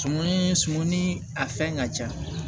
Sumani sumani a fɛn ka ca